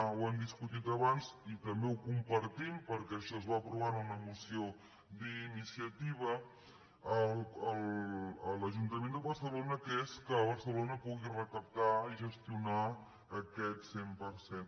ho hem discutit abans i també ho compartim perquè això es va aprovar en una moció d’iniciativa a l’ajuntament de barcelona que és que barcelona pu·gui recaptar i gestionar aquest cent per cent